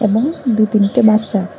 এবং দু তিনটে বাচ্চা।